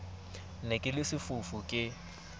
ne ke le sefofu ke